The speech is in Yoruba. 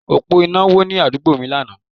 Òpó iná wó ní àdúgbò mi lánàá